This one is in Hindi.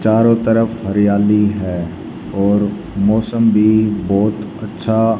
चारों तरफ हरियाली है और मौसम भी बहोत अच्छा--